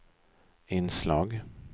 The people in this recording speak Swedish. inslag